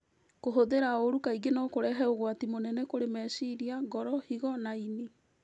Kũhũthĩra ũũru kaingĩ no kũrehe ũgwati mũnene kũrĩ meciria, ngoro, higo na ĩni.